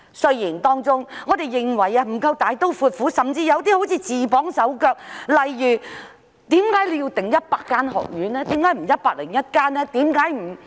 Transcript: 雖然我們認為當中有些不夠大刀闊斧，甚至好像自綁手腳，例如為何要訂定100間學院，而不是101間呢？